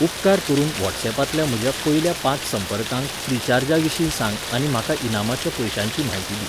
उपकार करून व्हॉट्सऍपांतल्या म्हज्या पयल्या पांच संपर्कांक फ्रिचार्जाविशीं सांग आनी म्हाका इनामाच्या पयशांची म्हायती दी.